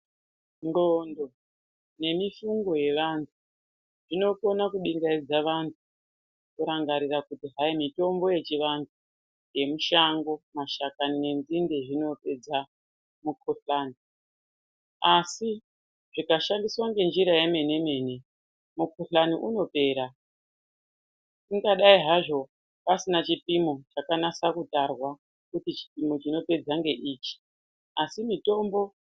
Ndxondo nemifungo yevanhu zvinokona kubingaidza anhu kurangarira kuti hai mitombo yechivantu yemushango mashakani nenzinde zvinopedza mukohlani asi zvikashandiswa ngenzira yemene mene mukohlani unopera zvingadai hazvo pasina chipimo chakanase kutarwa kuti chipimo chinopedza ngeichi asi mitombo.